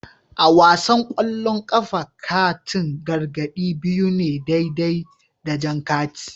A wasan kwallon kafa, katin gargadi biyu ne daidai da jan kati